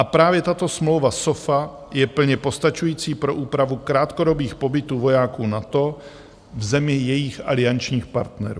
A právě tato smlouva SOFA je plně postačující pro úpravu krátkodobých pobytů vojáků NATO v zemi jejich aliančních partnerů.